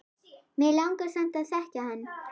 Mig langar samt að þekkja hann